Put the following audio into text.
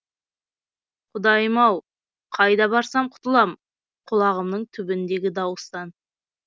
құдайым ау қайда барсам құтылам құлағымның түбіндегі дауыстан